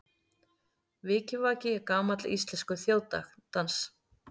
Vikivaki er gamall íslenskur þjóðdans.